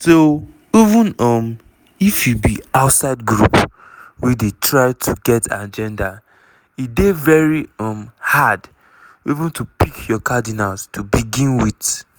so even um if you be outside group wey dey try to get agenda e dey very um hard even to pick your cardinals to begin wit."